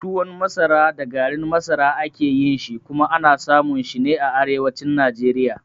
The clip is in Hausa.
Tuwon masara da garin masara a ke yin shi, kuma ana samun shi ne a arewacin Najeriya.